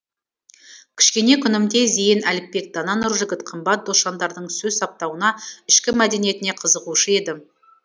кішкене күнімде зейін әліпбек дана нұржігіт қымбат досжандардың сөз саптауына ішкі мәдениетіне қызығушы едім